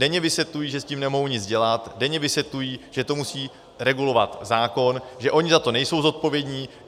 Denně vysvětlují, že s tím nemohou nic dělat, denně vysvětlují, že to musí regulovat zákon, že oni za to nejsou zodpovědní.